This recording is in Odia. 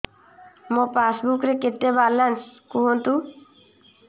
ମୋ ପାସବୁକ୍ ରେ କେତେ ବାଲାନ୍ସ କୁହନ୍ତୁ